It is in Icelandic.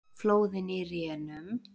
Flóðin í rénun